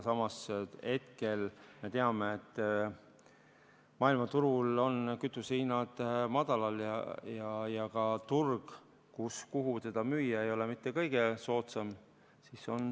Samas me teame, et maailmaturul on kütusehinnad madalal ja ka turg, kuhu müüa, ei ole mitte kõige soodsam.